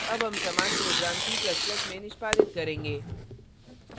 अब हम समान program c ++ में निष्पादित करेंगे